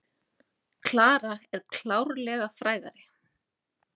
Klara er klárlega frægari.